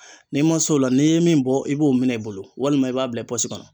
N'i ma s'o la n'i ye min bɔ i b'o minɛ i bolo walima i b'a bila i pɔsi kɔnɔ